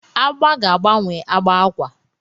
Agba ga-agbanwe agba akwa.